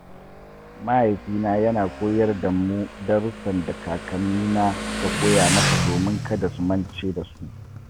Mahaifina yana koyar da mu darussan da kakannina suka koya masa domin kada su mance da su.